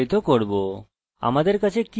আমাদের কাছে কি আছে